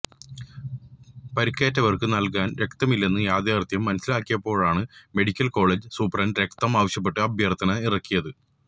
പരുക്കേറ്റവര്ക്ക് നല്കാന് രക്തമില്ലെന്ന യാഥാര്ഥ്യം മനസ്സിലാക്കിയപ്പോഴാണ് മെഡിക്കല് കോളേജ് സൂപ്രണ്ട് രക്തം ആവശ്യപ്പെട്ട് അഭ്യര്ത്ഥന ഇറക്കിയത്